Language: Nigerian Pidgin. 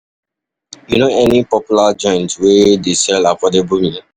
You know any popular joint wey dey sell affordable meal?